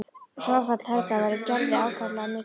Fráfall Helga verður Gerði ákaflega mikið áfall.